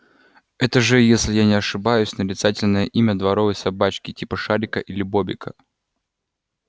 это же если я не ошибаюсь нарицательное имя дворовой собачки типа шарика или бобика